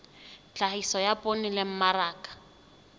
tlhahiso ya poone le mmaraka